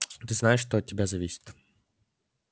ты знаешь что от тебя зависит